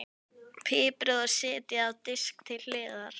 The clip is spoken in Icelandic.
Piprið og setjið á disk til hliðar.